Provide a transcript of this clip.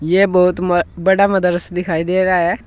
यह बहुत म बड़ा मदर्स दिखाई दे रहा है।